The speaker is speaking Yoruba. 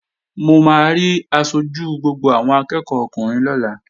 Mo máa rí aṣojú gbogbo àwọn akẹ́ẹ̀kọ́ ọkùnrin lọ́la